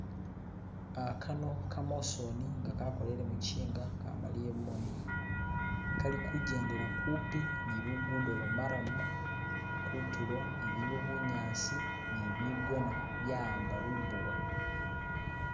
Uh Kano'kamasoni nga'kakholile mukyinga, kamalile mumoni 'kali Khukyendela kumpi ni' lugudo lwa'marrum nkuntulo ilikho bunyasi ni' bigona bya'amba lumbowa